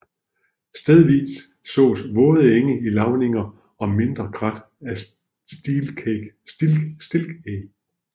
Stedvis ses våde enge i lavninger og mindre krat af stilkeg